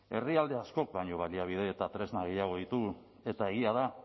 herrialde askok baino baliabide eta tresna gehiago ditugu eta egia da